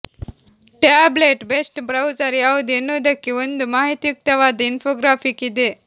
tablet best browser ಯಾವುದು ಎನ್ನುವುದಕ್ಕೆ ಒಂದು ಮಾಹಿತಿಯುಕ್ತವಾದ ಇನ್ಫೋಗ್ರಾಫಿಕ್ ಇದೆ